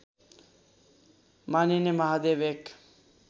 मानिने महादेव एक